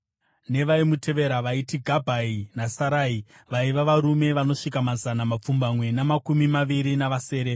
nevaimutevera vaiti Gabhai naSarai, vaiva varume vanosvika mazana mapfumbamwe namakumi maviri navasere.